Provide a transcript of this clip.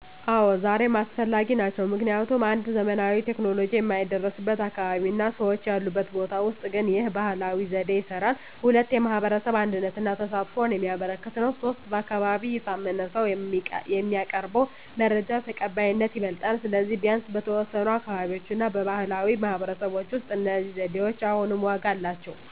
አዎ፣ ዛሬም አስፈላጊ ናቸው። ምክንያቱም 1. ዘመናዊ ቴክኖሎጂ የማይደረስበት አካባቢ እና ሰዎች ያሉበት ቦታ ውስጥ ግን ይህ ባህላዊ ዘዴ ይስራል። 2. የማህበረሰብ አንድነትን እና ተሳትፎን የሚያበረክት ነው። 3. በአካባቢ የታመነ ሰው የሚያቀርበው መረጃ ተቀባይነቱ ይበልጣል። ስለዚህ፣ ቢያንስ በተወሰኑ አካባቢዎች እና በባህላዊ ማህበረሰቦች ውስጥ እነዚህ ዘዴዎች አሁንም ዋጋ አላቸው።